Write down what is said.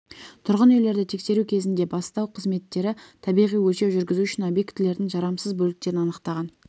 тұрғын үйлерді тексеру кезінде бастау қызметтері табиғи өлшеу жүргізу үшін объектілердің жарамсыз бөліктерін анықтаған